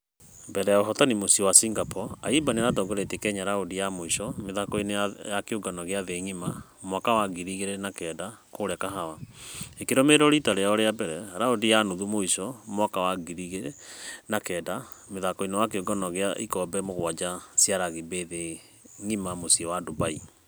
Mbere ya ũhotani mũciĩ wa singapore , ayimba nĩaratongoritie kenya raundi ya mũisho mĩthako-inĩ ya kĩũngano gĩa thĩ ngima waka wa ngiri igĩrĩ na kenda kũrĩa kahawa. Ĩkĩrũmerĩrwo rita rĩao rĩa mbere raundi ya nuthu mũisho mwaka wa ngiri igĩrĩ na kenda mĩthako-inĩ ya kĩũngano gĩa ĩkobe mũgwaja cĩa rugby thĩ ngima mũciĩ wa dubai.